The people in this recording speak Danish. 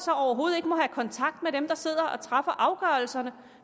overhovedet ikke må have kontakt med dem der sidder og træffer afgørelserne